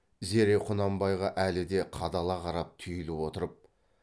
зере құнанбайға әлі де қадала қарап түйіліп отырып